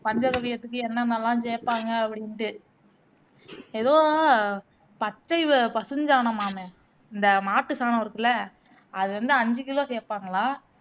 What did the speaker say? பஞ்சகவ்வியத்துக்கு என்னென்னலாம் சேர்ப்பாங்க அப்படின்னுட்டு ஏதோ பச்சை வ பசுஞ்சாணமாமே இந்த மாட்டு சாணம் இருக்குல்ல அதுவந்து ஐந்து kilo சேர்ப்பாங்கலாம்